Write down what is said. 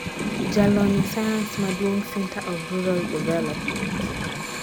jalony e sayans maduong, Center of Rural Development